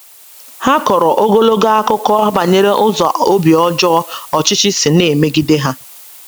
Ha kọrọ ogologo akụkọ banyere ụzọ obi ọjọọ ọchịchị si na - emegide ha.